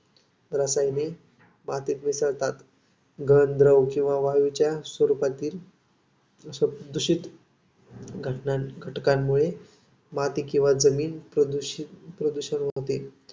रसायने मातीत मिसळतात. गळतद्रव किंवा वायूच्या स्वरूपातील दूषित घटकांमुळे माती किंवा जमीन प्रदूषित प्रदूषण होते.